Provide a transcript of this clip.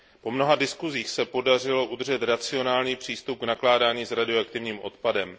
Po mnoha diskusích se podařilo udržet racionální přístup k nakládání s radioaktivním odpadem.